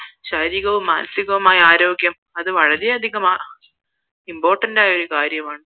ശരീരകവും മാനസികവുമായ ആരോഗ്യം അത് വളരെ അധികം important ആയ കാര്യമാണ്